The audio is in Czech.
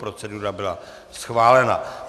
Procedura byla schválena.